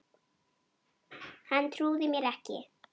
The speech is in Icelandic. Hann trúði mér ekki